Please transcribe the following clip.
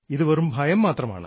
ഇത് വെറും ഭയം മാത്രമാണ്